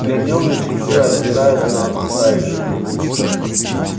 глядел на часы озираясь на окружающих